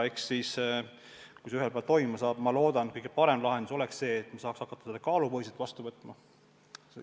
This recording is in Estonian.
Kui see ühel päeval toimuma saab, siis loodetavasti kõige parem lahendus oleks see, et me saaks hakata jäätmeid kaalupõhiselt vastu võtma.